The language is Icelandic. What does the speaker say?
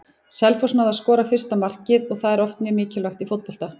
Selfoss náði að skora fyrsta markið og það er oft mjög mikilvægt í fótbolta.